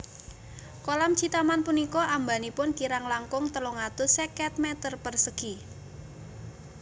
Kolam Citaman punika ambanipun kirang langkung telung atus seket m persegi